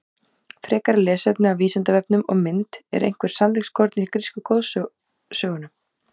Frekara lesefni á Vísindavefnum og mynd Er eitthvert sannleikskorn í grísku goðsögunum?